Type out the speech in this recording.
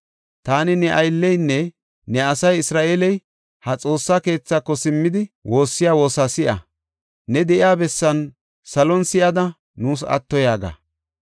Taani ne aylleynne ne asay Isra7eeley, ha Xoossa keethaako simmidi, woossiya woosa si7a. Ne de7iya bessan salon si7ada nuus atto yaaga.